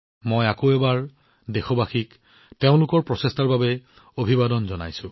মই আকৌ এবাৰ দেশবাসীসকলক তেওঁলোকৰ প্ৰচেষ্টাৰ বাবে অভিবাদন জনাইছো